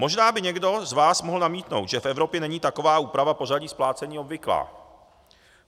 Možná by někdo z vás mohl namítnout, že v Evropě není taková úprava pořadí splácení obvyklá.